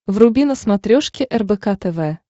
вруби на смотрешке рбк тв